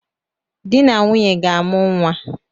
Dị na nwunye ga-amụ nnwa